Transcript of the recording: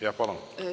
Jah, palun!